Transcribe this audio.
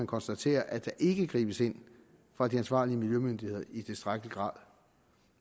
konstatere at der ikke gribes ind fra de ansvarlige miljømyndigheders i tilstrækkelig grad